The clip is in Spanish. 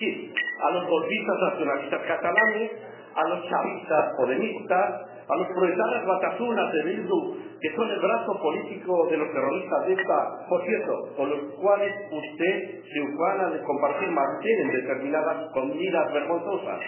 Es decir, a los golpistas nacionalistas catalanes, a los chavistas podemitas, a los proetarras batasunas de Bildu, que son el brazo político de los terroristas de ETA, con los cuales, por cierto, usted se ufana de compartir mantel en determinadas comidas vergonzosas.